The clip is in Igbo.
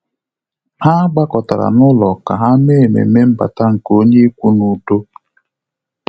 Há gbàkọ́tárà n’ụ́lọ́ kà há mèé ememe mbata nke onye ikwu n’udo.